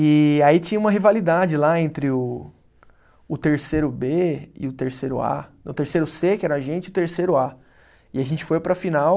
E aí tinha uma rivalidade lá entre o, o terceiro Bê e o terceiro A. Não, o terceiro Cê, que era a gente, e o terceiro A. E a gente foi para a final